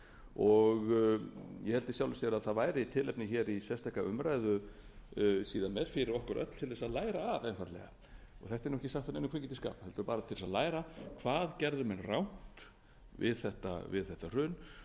í sjálfu sér að það væri tilefni í sérstaka umræðu síðar meir fyrir okkur öll til að læra af þetta er ekki sagt af neinum kvikindisskap heldur bara til að læra hvað gerðu menn rangt við þetta hrun